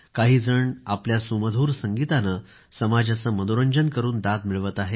काहीजण आपल्या सुमधूर संगीताने समाजाचे मनोरंजन करून दाद मिळवत आहे